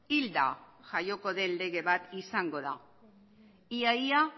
hilda jaioko den lege bat izango da ia ia